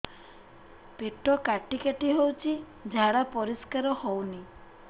ପେଟ କାଟି କାଟି ହଉଚି ଝାଡା ପରିସ୍କାର ହଉନି